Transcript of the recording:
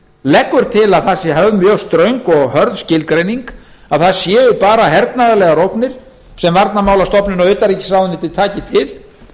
leggur til að höfð sé mjög ströng og hörð skilgreining að það séu bara hernaðarlegar ógnir sem varnarmálastofnun og utanríkisráðuneytið taki til